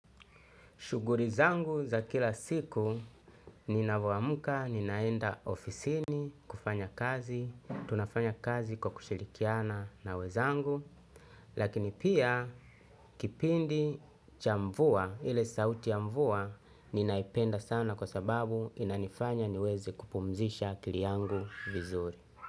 Shughuli zangu za kila siku ni ninavyoamka, ninaenda ofisini, kufanya kazi, tunafanya kazi kwa kushirikiana na wezangu. Lakini pia kipindi cha mvua, ile sauti ya mvua, ninaipenda sana kwa sababu inanifanya niweze kupumzisha akili yangu vizuri.